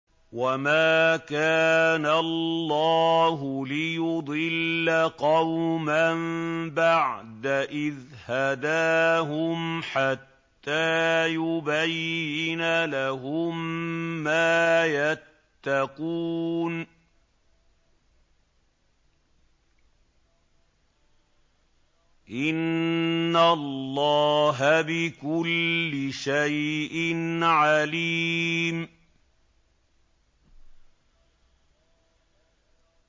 وَمَا كَانَ اللَّهُ لِيُضِلَّ قَوْمًا بَعْدَ إِذْ هَدَاهُمْ حَتَّىٰ يُبَيِّنَ لَهُم مَّا يَتَّقُونَ ۚ إِنَّ اللَّهَ بِكُلِّ شَيْءٍ عَلِيمٌ